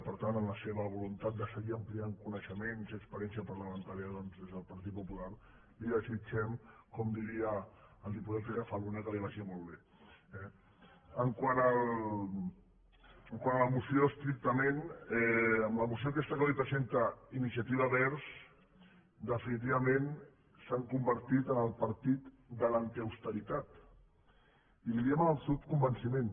per tant amb la seva voluntat de seguir ampliant coneixements i experiència parlamentària doncs des del partit popular li desitgem com diria el diputat rafa luna que li vagi molt bé eh quant a la moció estrictament amb la moció aquesta que avui presenta iniciativa verds definitivament s’han convertit en el partit de l’antiausteritat i li ho diem amb absolut convenciment